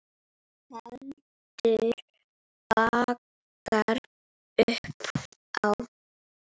Heldur bankar upp á.